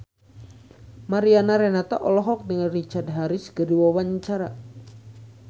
Mariana Renata olohok ningali Richard Harris keur diwawancara